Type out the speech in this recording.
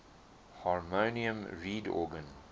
harmonium reed organ